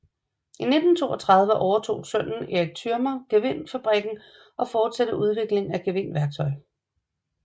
I 1932 overtog sønnen Eric Thürmer gevindfabrikken og fortsatte udviklingen af gevindværktøj